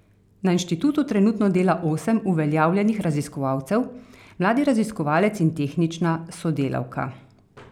Na inštitutu trenutno dela osem uveljavljenih raziskovalcev, mladi raziskovalec in tehnična sodelavka.